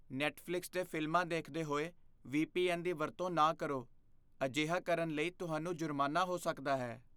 Netflix 'ਤੇ ਫ਼ਿਲਮਾਂ ਦੇਖਦੇ ਹੋਏ ਵੀ. ਪੀ. ਐੱਨ. ਦੀ ਵਰਤੋਂ ਨਾ ਕਰੋ। ਅਜਿਹਾ ਕਰਨ ਲਈ ਤੁਹਾਨੂੰ ਜੁਰਮਾਨਾ ਹੋ ਸਕਦਾ ਹੈ।